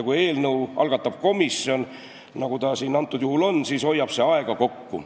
Kui eelnõu algatab komisjon, nagu see antud juhul on, siis hoiab see aega kokku.